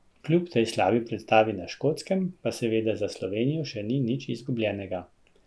Kljub tej slabi predstavi na Škotskem pa seveda za Slovenijo še ni nič izgubljenega.